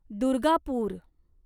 Durgapur